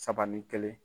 Saba ni kelen